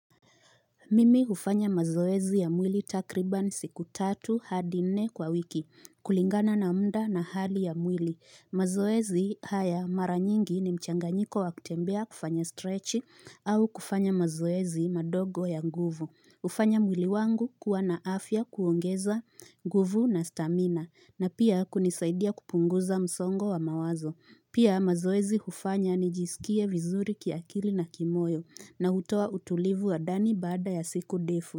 Mimi hufanya mazoezi ya mwili takriban siku tatu hadi nne kwa wiki kulingana na mda na hali ya mwili. Mazoezi haya mara nyingi ni mchanganyiko wakutembea kufanya stretch au kufanya mazoezi madogo ya nguvu. hUfanya mwili wangu kuwa na afya kuongeza nguvu na stamina na pia kunisaidia kupunguza msongo wa mawazo. Pia mazoezi hufanya nijisikie vizuri kiakili na kimoyo na hutoa utulivu wa ndani baada ya siku defu.